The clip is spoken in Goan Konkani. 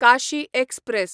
काशी एक्सप्रॅस